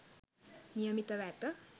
නියමිතව ඇත.